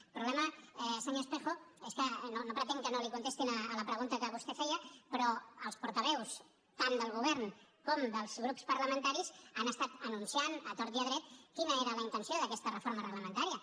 el problema senyor espejo és que no pretenc que no li contestin a la pregunta que vostè feia però els portaveus tant del govern com dels grups parlamentaris han estat anunciant a tort i a dret quina era la intenció d’aquesta reforma reglamentària